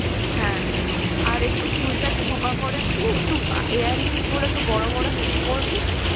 হ্যাঁ আর একটু চুলটা একটু খোপা করে নিবি একটু অ্যাঁ earrings গুলো বড় বড় heavy পরবি